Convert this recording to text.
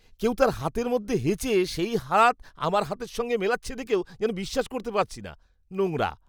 কেউ তার হাতের মধ্যে হেঁচে সেই হাতে আমার সঙ্গে হাত মেলাচ্ছে দেখেও যেন বিশ্বাস করতে পারছি না। নোংরা!